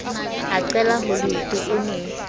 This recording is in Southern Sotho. a qela holeoto o ne